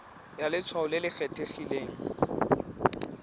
ya letshwao le le kgethegileng